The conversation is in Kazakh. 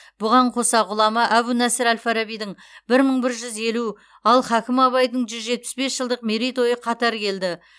бұған қоса ғұлама әбу насыр әл фарабидің бір мың бір жүз елу ал хакім абайдың жүз жетпіс бес жылдық мерейтойы қатар келді